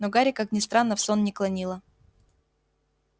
но гарри как ни странно в сон не клонило